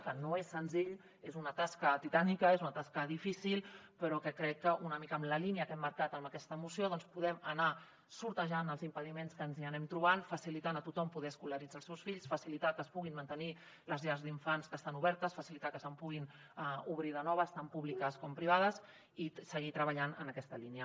que no és senzill és una tasca titànica és una tasca difícil però crec que una mica en la línia que hem marcat amb aquesta moció doncs podrem anar esquivant els impediments que ens hi anem trobant facilitar a tothom poder escolaritzar els seus fills facilitar que es puguin mantenir les llars d’infants que estan obertes facilitar que se’n puguin obrir de noves tant públiques com privades i seguir treballant en aquesta línia